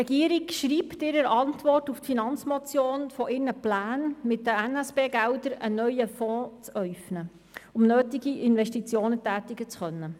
Die Regierung schreibt in ihrer Antwort auf die Finanzmotion von ihren Plänen, mit den SNB-Geldern einen neuen Fonds zu äufnen, um nötige Investitionen tätigen zu können.